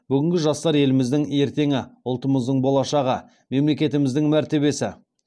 бүгінгі жастар еліміздің ертеңі ұлтымыздың болашағы мемлекетіміздің мәртебесі